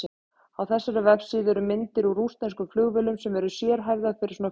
Á þessari vefsíðu eru myndir úr rússneskum flugvélum sem eru sérhæfðar fyrir svona flug.